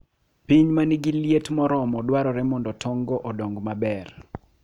Piny ma nigi liet moromo dwarore mondo tong'go odong maber.